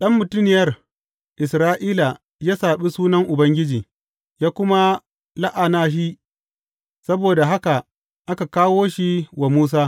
Ɗan mutuniyar Isra’ila ya saɓi Sunan Ubangiji, ya kuma la’ana shi, saboda haka aka kawo shi wa Musa.